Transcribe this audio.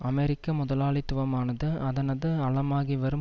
அமெரிக்க முதலாளித்துவமானது அதனது அழமாகிவரும்